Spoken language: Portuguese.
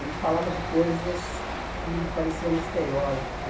e falava de coisas que pareciam misteriosas né.